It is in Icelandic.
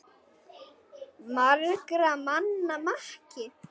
SOPHUS: Margra manna maki!